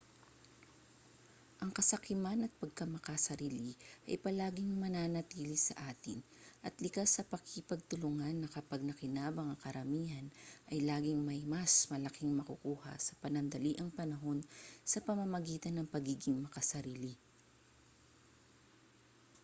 ang kasakiman at pagkamakasarili ay palaging mananatili sa atin at likas sa pakikipagtulungan na kapag nakinabang ang karamihan ay laging may mas malaking makukuha sa panandaliang panahon sa pamamagitan ng pagiging makasarili